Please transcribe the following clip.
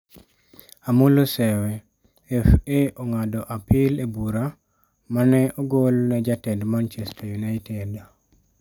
Amollo Sewe: FA ong'ado apil e bura ma ne ogol ne jatend Manchester United